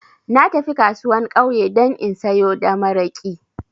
Na tafi kasuwan ƙauye dan in sayo da maraƙi